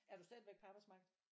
Er du stadigvæk på arbejdsmarkedet?